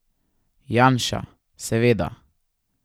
Janša, seveda.